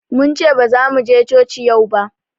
Mun ce bazamu je coci yau ba